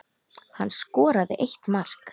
Hann skoraði eitt mark.